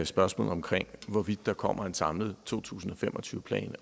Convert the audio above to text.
spørgsmålet om hvorvidt der kommer en samlet to tusind og fem og tyve plan